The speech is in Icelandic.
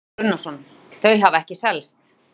Kristján Már Unnarsson: Þau hafa ekki selst?